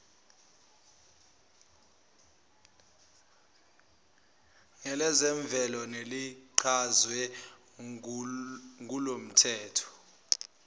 ngelezemvelo nelichazwe kulomthetho